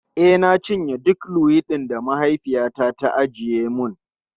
E, na cinye dukan luwaiɗin da mahaifiyata ta ajiye mun.